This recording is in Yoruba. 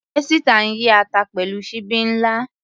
Esita ń yí ata pẹ̀lú ṣíbí ńlá.